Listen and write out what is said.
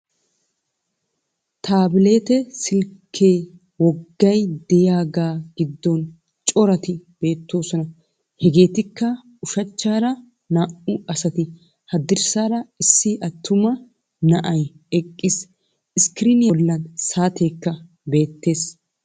Taabileetee silkke woggay de'iyagaa giddon cora ati beettoosona. Hegeetikka: ushachchaara naa"u asati, haddirssaara issi attuma na'ay eqqiis. Iskkiriiniya bollan saateekka beettees.